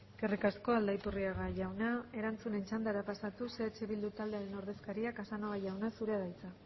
eskerrik asko aldaiturriga jauna erantzunen txandara pasatuz eh bildu taldearen ordezkaria casanova jauna zurea da hitza